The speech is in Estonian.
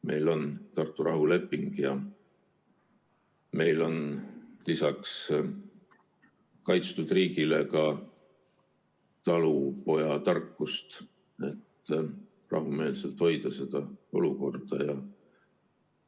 Meil on Tartu rahuleping ja meil on lisaks kaitstud riigile ka talupojatarkust, et rahumeelselt seda olukorda hoida.